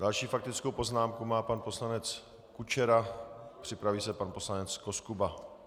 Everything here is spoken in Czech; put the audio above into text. Další faktickou poznámku má pan poslanec Kučera, připraví se pan poslanec Koskuba.